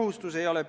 Mis asja?